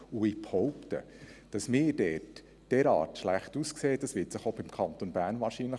Ich behaupte, dass es sich auch für den Kanton Bern bestätigen wird, dass es so schlecht aussieht.